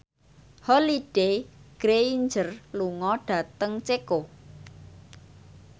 Holliday Grainger lunga dhateng Ceko